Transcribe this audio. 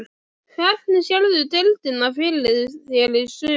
Hvernig sérðu deildina fyrir þér í sumar?